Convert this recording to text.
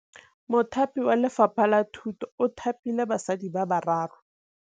Mothapi wa Lefapha la Thutô o thapile basadi ba ba raro.